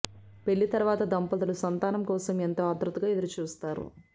పెళ్లి తర్వాత దంపతులు సంతానం కోసం ఎంతో ఆత్రుతగా ఎదురుచూస్తారు